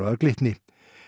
af Glitni